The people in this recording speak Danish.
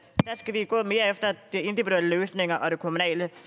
skal vi gå mere efter de individuelle løsninger og det kommunale